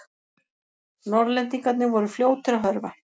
Norðlendingarnir voru fljótir að hörfa.